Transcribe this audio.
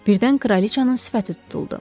Birdən kraliçanın sifəti tutuldu.